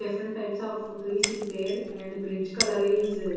Different types of trees is there and bridge color is--